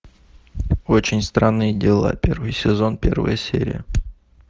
очень странные дела первый сезон первая серия